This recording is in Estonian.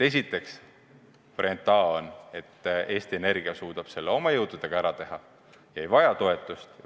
Esiteks, variant A on, et Eesti Energia suudab selle omal jõul ära teha ega vaja toetust.